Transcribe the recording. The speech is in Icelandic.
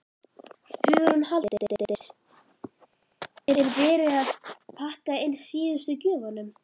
Hugrún Halldórsdóttir: Er verið að pakka inn síðustu gjöfunum?